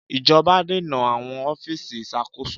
Ìjọba dènà àwọn ọ́fíìsì ìṣàkóso.